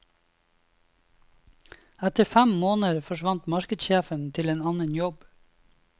Etter fem måneder forsvant markedssjefen til en annen jobb.